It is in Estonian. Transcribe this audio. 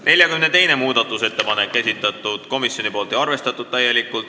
42. muudatusettepaneku on esitanud komisjon ja on täielikult arvestatud.